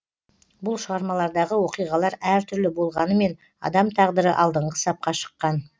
бұл шығармалардағы оқиғалар әр түрлі болғанымен адам тағдыры алдыңғы сапқа шыққан